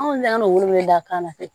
Anw ne kan ka wele wele da kan ne fɛ